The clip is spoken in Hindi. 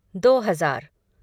दो हज़ार